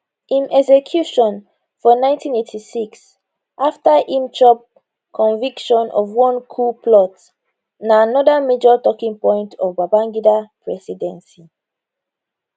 im execution for 1986 afta im chop conviction of one coup plot na anoda major talkingpoint of babangida presidency